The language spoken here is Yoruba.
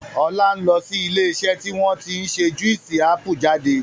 Ọlá ń lọ sí ilé iṣẹ́ tí wọn tí ń ṣe Juísì ápù jáde.